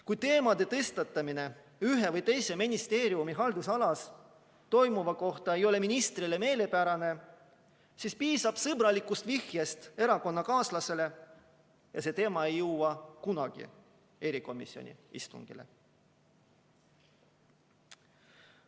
Kui teemade tõstatamine ühe või teise ministeeriumi haldusalas toimuva kohta ei ole ministrile meelepärane, siis piisab sõbralikust vihjest erakonnakaaslasele ja see teema ei jõua kunagi erikomisjoni istungile.